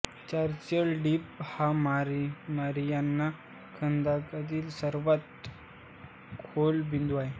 challenger Deep हा Mariana खंदकामधील सर्वात खोल बिंदू आहे